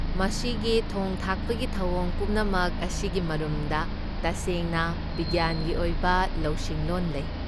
ꯃꯁꯤꯒꯤ ꯊꯣꯡ ꯊꯥꯛꯄꯒꯤ ꯊꯧꯑꯣꯡ ꯄꯨꯝꯅꯃꯛ ꯑꯁꯤꯒꯤ ꯃꯔꯨꯝꯗ ꯇꯁꯦꯡꯅ ꯕꯤꯒ꯭ꯌꯥꯟꯒꯤ ꯑꯣꯏꯕ ꯂꯧꯁꯤꯡꯂꯣꯟ ꯂꯩ꯫